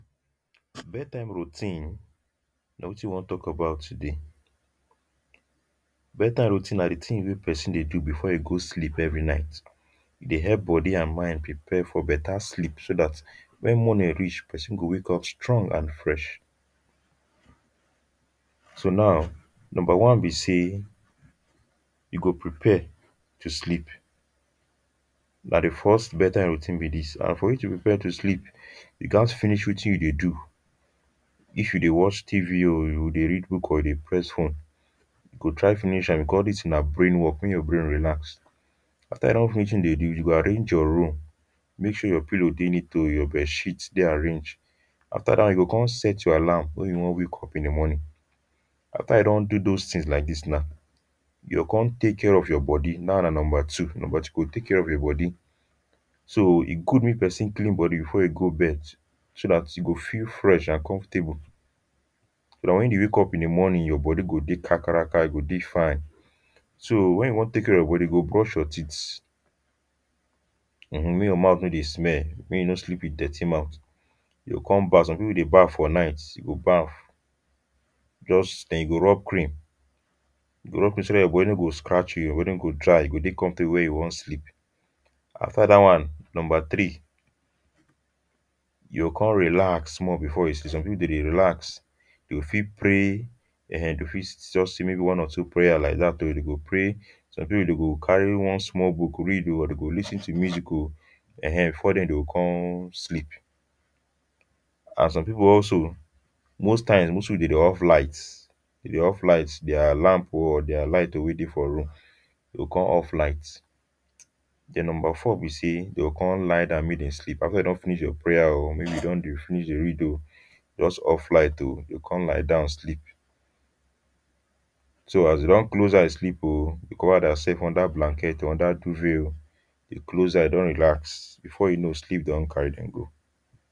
bed time routine nah wetin we wan talk about today bed time routine nah the thing weh person deh do before e go sleep every night e deh help body and mind prepare for better sleep so that when morning reach person go wake up strong and fresh so now number one be say e go prepare to sleep nah the first bed time routine be this and for you to prepare to sleep you gats finish wetin you deh do if you deh watch tv or you deh read book or deh press phone you go try finish am because this thing nah brain work make your brain relax after you don finish wetin you deh do you go arrange your room make sure you pillor deh neat um your bed sheet deh arrange after now you go come set your alarm when you wan wake up in the morning after you don do those things like this nah you go come take care of you body that one nah number two number two you go take care of your body so e good make person clean body before e go bed so that e go feel fresh and comfortable now when you wake up in the morning your body go deh kakaraka e go fine so when you wan take care of your body you go brush your teeth um make your mouth no deh smell make you no sleep with dirty mouth if you come back some people wey deh baf for night you go baf just then you go rub cream, you go rub cream so that your body no go dry, you go dey comfortable when you wan sleep. After dat one, number three you con relax small. Some people dem dey relax, you go fit pray um, you fit just say maybe one or two prayer like dat um, you go dey pray. Some people dey go carry one small book read um or dem go lis ten to music um, um before dem go come sleep and some people also, most times, dem dey off light, dem dey off light, dia lamp um or dia light um wey dey for room, dem go come off light um, then number four be say, dem go come lie down mak dem sleep after dem don finish their prayer um maybe dem don dey finish dey read just off light um, dey go come lie down sleep. So as deh don close eyes sleep um, dey cover dem sef under blanket or under duvet um deh close eye con relax, before you know sleep don carry dem go.